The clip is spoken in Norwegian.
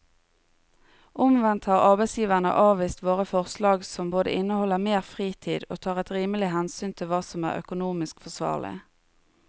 Omvendt har arbeidsgiverne avvist våre forslag som både inneholder mer fritid og tar et rimelig hensyn til hva som er økonomisk forsvarlig.